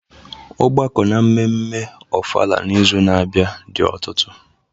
Ọgbakọ n'ememme ofala n'izu na-abịa dị ọtụtụ.